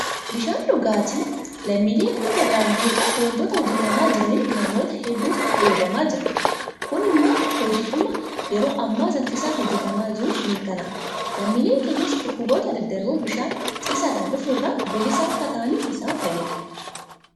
Bishaan dhugaatii lammiilee hunda biraan gahuudhaaf waantota hojjetamaa jiraniin namoota hedduutu fayyadamaa jira. Kun immoo hojiidhuma yeroo ammaa saffisaan hojjetamaa jiruun mirkanaa'a. Lammiileen keenyas dhukkuboota daddarboo bishaan ciisaadhaan dhufu irraa bilisa akka ta'aniif isaan fayyada.